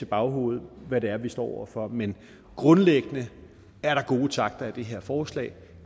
baghovedet hvad det er vi står over for men grundlæggende er der gode takter i det her forslag